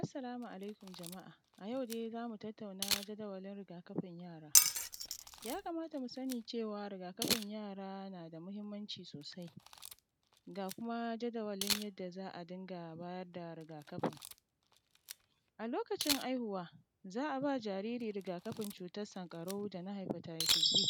Assalamu alaikum jama’a. Ayau dai zamu tattauna jadawalin rigakafin yara. Ya kamata mu sani cewa rigakafin yara nada mahimmanci sosai, ga kuma jadawalin yadda za a dinga bayar da rigakafin. A lokaci aihuwa za a ba jariri rigakafin cutar sankarau dana haifatatis b.